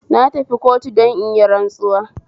Na tafi kotu don inyi rantsuwa